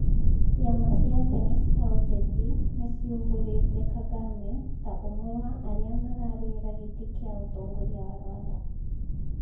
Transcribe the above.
Ciama cia tene cia ũteti nĩ ciumbũrite Kagame ta ũmwe wa aria makarũĩra gĩtĩ kĩa ũtongoria wa Rwanda